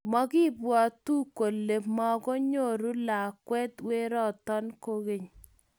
Makibwotu kole mukunyoru lakwet werto kukeny